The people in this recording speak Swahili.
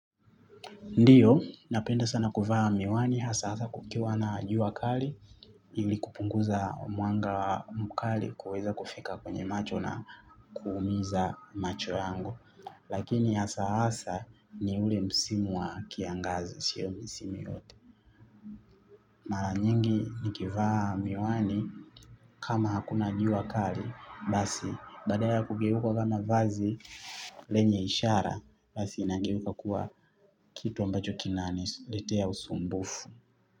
Ndiyo, napenda sana kuvaa miwani, hasa hasa kukiwa na jua kali, ili kupunguza mwanga mkali kuweza kufika kwenye macho na kuumiza macho yangu. Lakini hasa hasa ni ule msimu wa kiangazi, sio misimu yote. Mara nyingi nikivaa miwani kama hakuna jua kali basi badala ya kugeuka kama vazi lenye ishara basi inageuka kuwa kitu ambacho kinaniletea usumbufu.